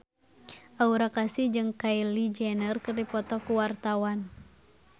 Aura Kasih jeung Kylie Jenner keur dipoto ku wartawan